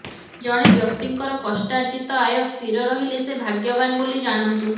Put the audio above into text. ଜଣେ ବ୍ୟକ୍ତିଙ୍କର କଷ୍ଟାର୍ଜିତ ଆୟ ସ୍ଥିର ରହିଲେ ସେ ଭାଗ୍ୟବାନ ବୋଲି ଜାଣନ୍ତୁ